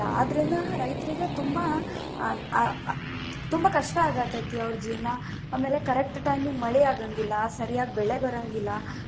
ಆದ್ರಿಂದ ರೈತರಿಗೆ ತುಂಬಾ ಆ ಆ ತುಂಬಾ ಕಷ್ಟಾ ಆಗತೇತಿ ಅವ್ರ ಜೀವನಾ, ಆಮೇಲೆ correct time ಗ ಮಳಿ ಆಗಂಗಿಲ್ಲಾ ಸರಿಯಾಗಿ ಬೆಳೆ ಬರಂಗಿಲ್ಲಾ.